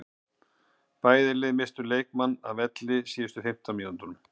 Bæði lið misstu leikmann af velli á síðustu fimmtán mínútunum.